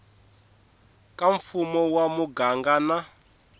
ka mfumo wa muganga na